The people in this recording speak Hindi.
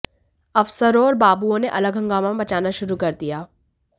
अफसरों और बाबुओं ने अलग हंगामा मचाना शुरू कर दिया